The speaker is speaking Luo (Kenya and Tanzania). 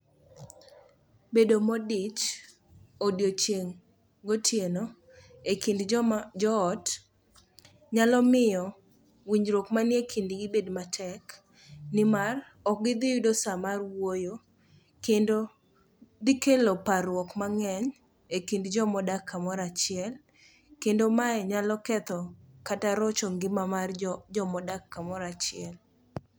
Bedo modich odiochieng' gotieno e kind joot nyalo miyo winjruok manie kindgi bed matek, nimar ok gidhi yudo sa mar wuoyo kendo dhikelo parruok mang'eny e kind jomodak kamoro achiel kendo mae nyalo ketho kata rocho ngima mar jomodak kamoro achiel.